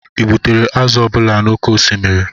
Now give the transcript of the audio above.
ị gbutere azụ ọ bụla n'oké osimiri?